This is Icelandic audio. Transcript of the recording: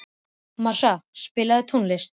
Marsa, spilaðu tónlist.